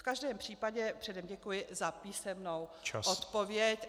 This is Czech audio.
V každém případě předem děkuji za písemnou odpověď.